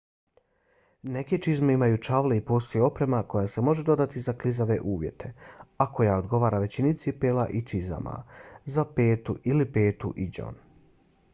neke čizme imaju čavle i postoji oprema koja se može dodati za klizave uvjete a koja odgovara većini cipela i čizama za petu ili petu i đon